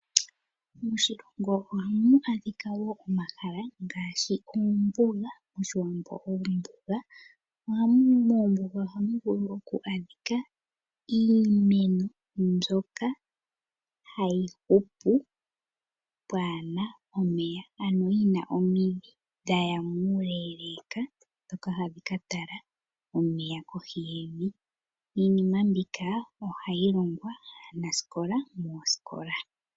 Moshilongo ohamu adhika wo iinima ngaashi oombuga. Ombuga ohamu vulu oku adhika iimeno mbyoka hayi hupu pwaana omeya ano yina omidhi dhaya muule, opo dhi katale omeya kohi yevi. Iinima mbino ohayi longwa wo aanasikola moosikola.